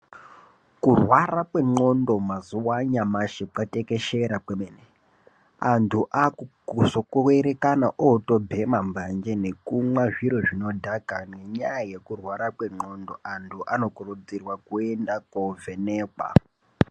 Kurwara kwendxondo mazuva anyamashi kwatekeshera kwemene antu akuzongokuerekana oto bhema mbanje nekumwa zviro zvinodhaka nenyaya yekurwara kwendxondo, antu anokurudzirwa kuenda kovhenekwa.